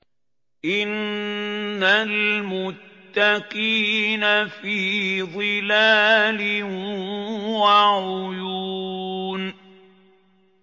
إِنَّ الْمُتَّقِينَ فِي ظِلَالٍ وَعُيُونٍ